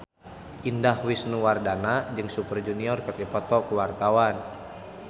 Indah Wisnuwardana jeung Super Junior keur dipoto ku wartawan